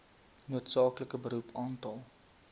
noodsaaklike beroep aantal